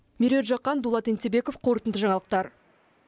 меруерт жақан дулат енсебеков қорытынды жаңалықтар